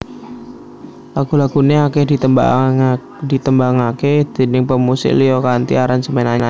Lagu laguné akèh ditembangaké déning pemusik liya kanthi aransemen anyar